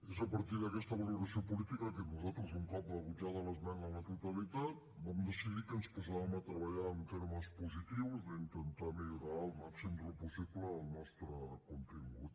és a partir d’aquesta valoració política que nosaltres un cop rebutjada l’esmena a la totalitat vam decidir que ens posàvem a treballar en termes positius d’intentar millorar el màxim del possible el nostre contingut